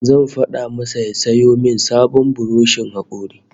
Zan fada masa ya sayo min sabon buroshin hakori